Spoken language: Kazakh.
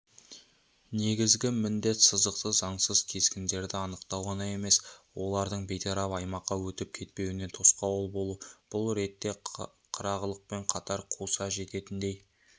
негізгі міндет сызықты заңсыз кескендерді анықтау ғана емес олардың бейтарап аймаққа өтіп кетпеуіне тосқауыл болу бұл ретте қырағылықпен қатар қуса жететіндей